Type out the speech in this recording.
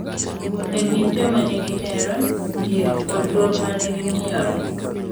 E kind joma nigi hera, yie, kod luor ma ne gimiyore.